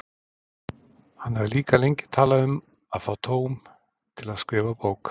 Hann hafði líka lengi talað um að fá tóm til að skrifa bók.